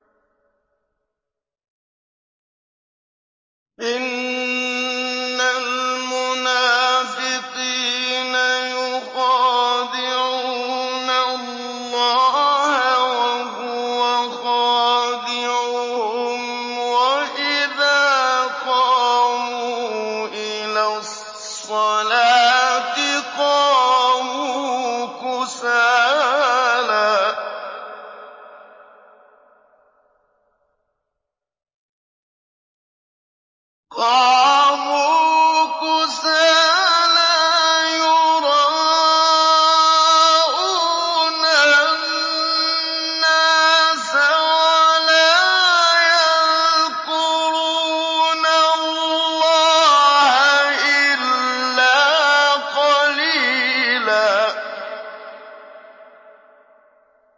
إِنَّ الْمُنَافِقِينَ يُخَادِعُونَ اللَّهَ وَهُوَ خَادِعُهُمْ وَإِذَا قَامُوا إِلَى الصَّلَاةِ قَامُوا كُسَالَىٰ يُرَاءُونَ النَّاسَ وَلَا يَذْكُرُونَ اللَّهَ إِلَّا قَلِيلًا